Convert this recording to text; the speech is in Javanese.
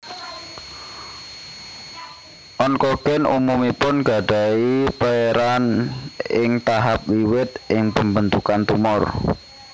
Onkogen umumipun gadahi peran ing tahap wiwit ing pembentukan tumor